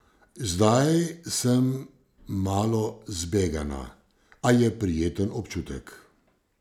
Zdaj sem malo zbegana, a je prijeten občutek.